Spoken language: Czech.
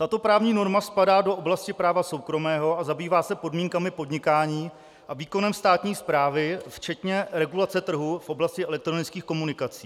Tato právní norma spadá do oblasti práva soukromého a zabývá se podmínkami podnikání a výkonem státní správy včetně regulace trhu v oblasti elektronických komunikací.